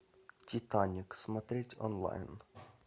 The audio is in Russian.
титаник смотреть онлайн